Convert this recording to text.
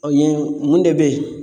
O ye mun de be ye